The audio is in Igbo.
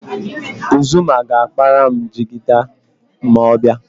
Uzumma ga-akpara m jigida ma ọ bịa.